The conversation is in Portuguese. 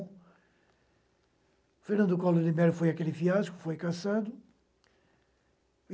O Fernando Collor de Mello foi aquele fiasco, foi cassado.